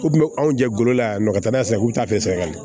Ko kun bɛ anw jɛ golo la yan nɔ ka taa n'a ye so k'u t'a fɛ ka le